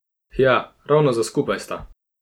Hja, ravno za skupaj sta!